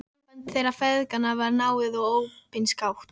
Samband þeirra feðginanna var náið mjög og opinskátt.